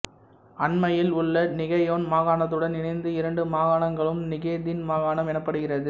அண்மையில் உள்ல நிகேயான் மாகாணத்துடன் இணைந்து இரண்டு மாகாணங்களும் நிகேதின் மாகாணம் எனப்படுகிறது